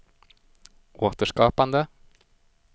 återskapande